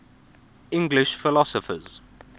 english philosophers